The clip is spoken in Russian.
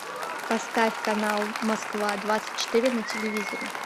поставь канал москва двадцать четыре на телевизоре